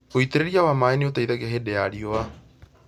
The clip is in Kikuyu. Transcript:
Ũitĩrĩria wa maaĩ nĩ ũteithagia hĩndĩ ya riũa